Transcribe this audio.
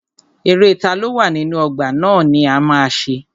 Eré taló wà nínú ọgbà ná ni a ma ṣe.